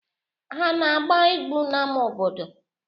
Ha ana-agba egwu n'ama obodo?